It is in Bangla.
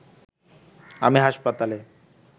আমি হাসপাতালে